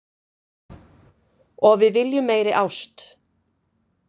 Og við viljum meiri ást